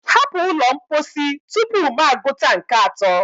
hapụ ụlọ mposi tupu m agụta nke atọ!